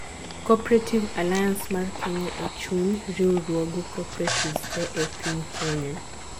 Cooperative alliance mar kenya ee chuny riwruoge cooperatives tee ee piny Kenya